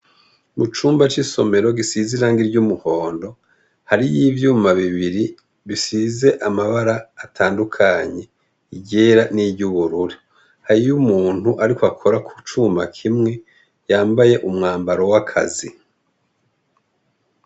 mu cumba c'isomero gisize irangi ry'umuhondo hariyo ivyuma bibiri bisize amabara atandukanye iryera n'iry'ubururi hariyo umuntu ariko akora ku cuma kimwe yambaye umwambaro w'akazi